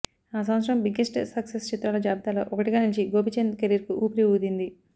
ఆ సంవత్సరం biggest success చిత్రాల జాబితాలో ఒకటిగా నిలిచి గోపీచంద్ కెరీర్కు ఊపిరి ఊదింది